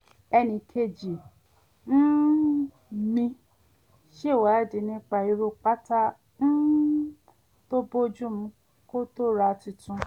e̩nìkejì um mi ṣèwádìí nípa irú bàtà um tó bójú mu kó tó ra tuntun